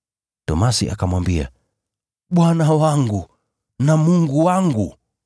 Tomaso akamwambia, “Bwana wangu na Mungu wangu!”